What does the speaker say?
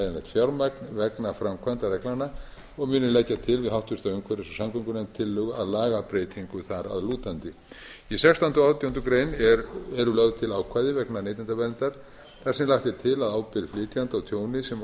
fjármagn vegna framkvæmd reglnanna og muni leggja til við háttvirta umhverfis og samgöngunefnd tillögu að lagabreytingu þar að lútandi í sextánda og átjándu grein eru lögð til ákvæði vegna neytendaverndar þar sem lagt er til að ábyrgð flytjanda á tjóni sem